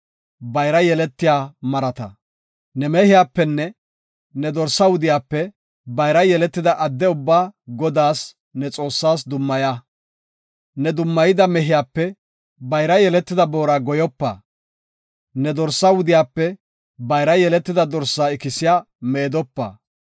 Ne mehiyapenne ne dorsaa wudiyape bayra yeletida adde ubbaa Godaas, ne Xoossaas dummaya. Ne dummayida mehiyape bayra yeletida boora goyopa; ne dorsaa wudiyape bayra yeletida dorsaa ikisiya meedopa.